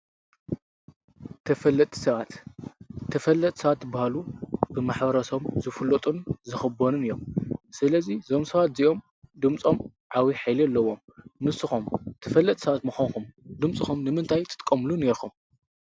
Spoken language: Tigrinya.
ተፈለጥቲ ሰባት ተፈለጥቲ ሰባት ዝባሃሉ ብማ/ሰብ ዝፍለጡን ዝኽበሩን እዮም፡፡ ስለዚ ዞም ሰባት እዚኦም ድምፆ ዓብይ ሓይሊ ኣለዎም፡፡ ንስኹም ተፈለጥቲ ሰባት ምዃንኩም ድምፅኹም ንምንታይ ትጥቀምሉ ኔርኩም?